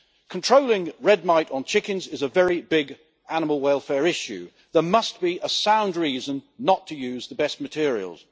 Controlling red mite on chickens is a very big animal welfare issue and there must be a sound reason not to use the best materials.